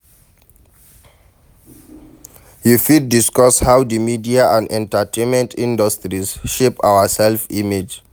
You fit discuss how di media and entertainment industries shape our self-image.